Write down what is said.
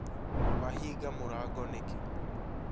Wahĩnga mũrango nĩkĩ?